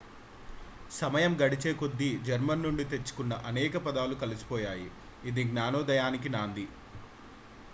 సమయం గడిచేకొద్దీ జర్మన్ నుండి తెచ్చుకున్న అనేక పదాలు కలిసిపోయాయి ఇది జ్ఞానోదయానికి నాంది